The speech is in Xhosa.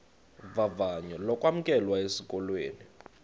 vavanyo lokwamkelwa esikolweni